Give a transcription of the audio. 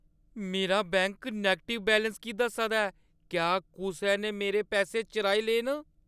मेरा bank negative balance की दस्सा दा ऐ? क्या कुसै ने मेरे पैसे चुराई ले न?